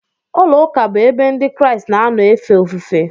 Ụlọụka bụ ebe Ndị Kraịst na-anọ efe ofufe.